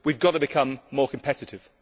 We have got to become more competitive.